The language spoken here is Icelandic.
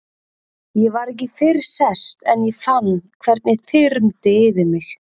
Ég var ekki fyrr sest en ég fann hvernig þyrmdi yfir mig.